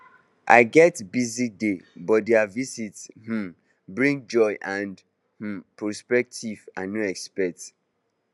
i get busy day but their visit um bring joy and um perspective i no expect